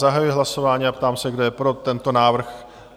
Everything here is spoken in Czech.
Zahajuji hlasování a ptám se, kdo je pro tento návrh?